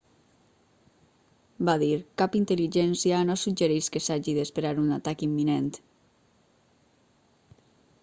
va dir cap intel·ligència no suggereix que s'hagi d'esperar un atac imminent